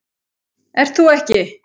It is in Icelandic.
Ert þú ekki